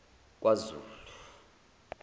kwazulu